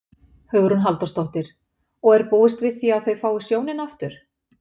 Hugrún Halldórsdóttir: Og er búist við því að þau fái sjónina aftur?